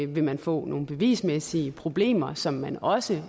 vil man få nogle bevismæssige problemer som man også